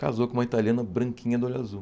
Casou com uma italiana branquinha, do olho azul.